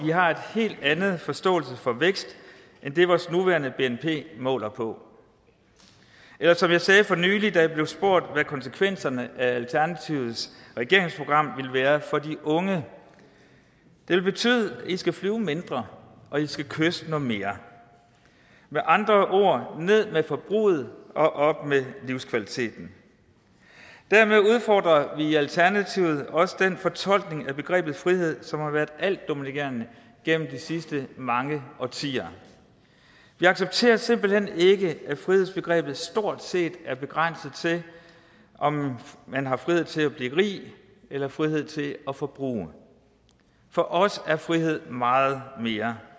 vi har en helt anden forståelse for vækst end den vores nuværende bnp måler på eller som jeg sagde for nylig da jeg blev spurgt om hvad konsekvenserne af alternativets regeringsprogram ville være for de unge det vil betyde at i skal flyve mindre og at i skal kysse noget mere med andre ord ned med forbruget og op med livskvaliteten dermed udfordrer vi i alternativet også den fortolkning af begrebet frihed som har været altdominerende gennem de sidste mange årtier vi accepterer simpelt hen ikke at frihedsbegrebet stort set er begrænset til om man har frihed til at blive rig eller frihed til at forbruge for os er frihed meget mere